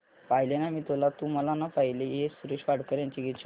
पाहिले ना मी तुला तू मला ना पाहिले हे सुरेश वाडकर यांचे गीत शोध